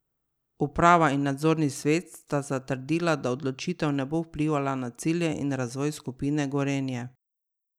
Uprava in nadzorni svet sta zatrdila, da odločitev ne bo vplivala na cilje in razvoj skupine Gorenje.